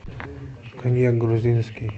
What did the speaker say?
коньяк грузинский